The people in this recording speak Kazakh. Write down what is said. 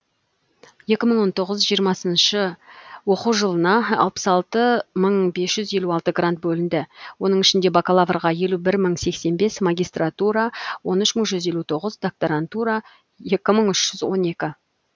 екі мың он тоғыз жиырмасыншы оқу жылына алпыс алты мың бес жүз елу алты грант бөлінді оның ішінде бакалаврға елу бір мың сексен бес магистратура он үш мың жүз елу тоғыз докторантура екі мың үш жүз он екі